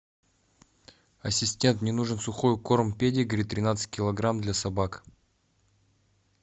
ассистент мне нужен сухой корм педигри тринадцать килограмм для собак